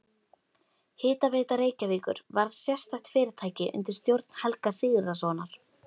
Hitaveita Reykjavíkur varð sérstakt fyrirtæki undir stjórn Helga Sigurðssonar.